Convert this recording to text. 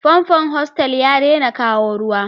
Famfon hostel ya ɗaina kawo Ruwa.